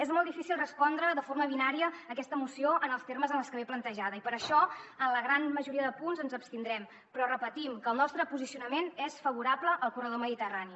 és molt difícil respondre de forma binària aquesta moció en els termes en els que ve plantejada i per això en la gran majoria de punts ens abstindrem però repetim que el nostre posicionament és favorable al corredor mediterrani